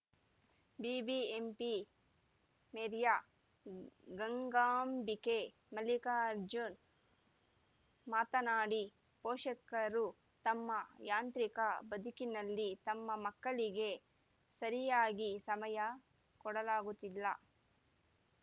BBMP ಮೇರಿಯ ಗಂಗಾಂಬಿಕೆ ಮಲ್ಲಿಕಾರ್ಜುನ್‌ ಮಾತನಾಡಿ ಪೋಷಕರು ತಮ್ಮ ಯಾಂತ್ರಿಕ ಬದುಕಿನಲ್ಲಿ ತಮ್ಮ ಮಕ್ಕಳಿಗೆ ಸರಿಯಾಗಿ ಸಮಯ ಕೊಡಲಾಗುತ್ತಿಲ್ಲ